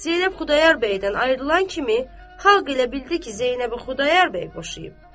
Zeynəb Xudayar bəydən ayrılan kimi xalq elə bildi ki, Zeynəbi Xudayar bəy boşayıb.